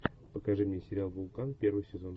покажи мне сериал вулкан первый сезон